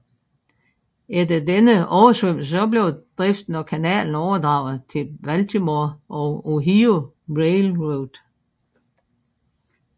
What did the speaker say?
Efter denne oversvømmelse blev driften af kanalen overdraget til Baltimore og Ohio Railroad